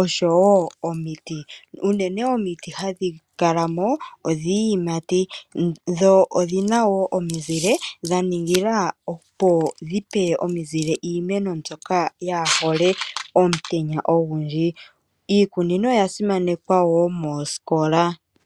oshowo omiti. Unene omiti hadhikalamo odhiiyimati dho odhina wo omizile, dha ningila opo dhipe omizile iimeno mbyoka yaahole omutenya ogundji. Iikunino oya simanekwa moosikola.